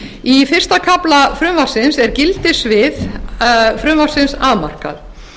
í fyrsta kafla frumvarpsins er gildissvið frumvarpsins afmarkað